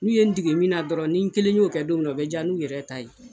N'u ye n dege min dɔrɔn ni n kelen y'o kɛ don min na, o be ja n'u yɛrɛ ta ye.